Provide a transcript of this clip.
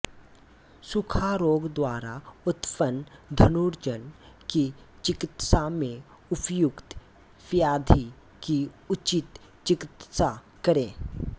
सूखा रोग द्वारा उत्पन्न धनुर्जानु की चिकित्सा में उपर्युक्त व्याधि की उचित चिकित्सा करें